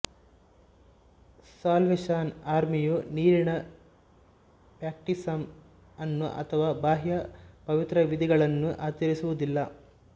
salvation ಆರ್ಮಿಯು ನೀರಿನ baptism ಅನ್ನು ಅಥವಾ ಬಾಹ್ಯ ಪವಿತ್ರವಿಧಿಗಳನ್ನು ಆಚರಿಸುವುದಿಲ್ಲ